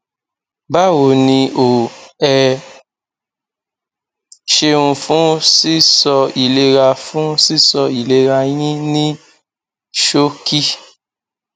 báwo ni o ẹ ṣeun fún sísọ ìlera fún sísọ ìlera yín ní ṣókí